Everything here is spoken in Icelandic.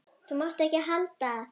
Þú mátt ekki halda að.